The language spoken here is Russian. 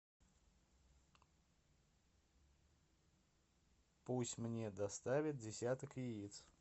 пусть мне доставят десяток яиц